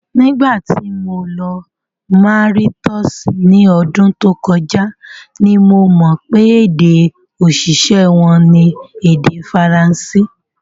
Nígbà tí mo lọ Mauritius ní ọdún tó kọjá ni mo mọ̀ pé èdè-òṣìṣẹ́ wọn ni èdè Faransé.